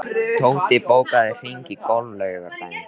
Tóti, bókaðu hring í golf á laugardaginn.